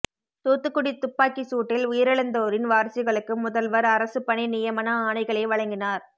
தூத்துக்குடி துப்பாக்கிச் சூட்டில் உயிரிழந்தோரின் வாரிசுகளுக்கு முதல்வர் அரசுப் பணி நியமன ஆணைகளை வழங்கினார்